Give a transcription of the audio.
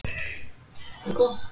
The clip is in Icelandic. Það er allt það létta.